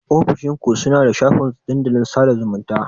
Ofishin ku suna da shafin dandalin sada zumunta.